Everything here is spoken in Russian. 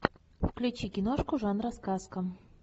включи киношку жанра сказка